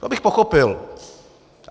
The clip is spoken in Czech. To bych pochopil.